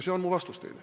See on mu vastus teile.